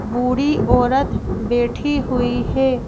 बूढ़ी औरत बैठी हुई है।